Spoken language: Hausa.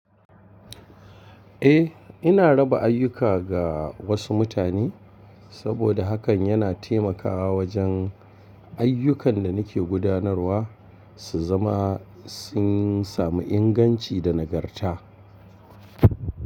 Eh, ina raba ayyuka ga wasu mutane saboda hakan yana taimakawa wajen ayyukan da nake gudanarwa su zama sun sami inganci da nagarta.